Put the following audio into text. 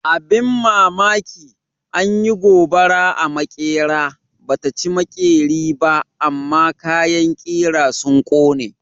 Abin mamaki, an yi gobara a maƙera, ba ta ci maƙeri ba amma kayan ƙira sun ƙone.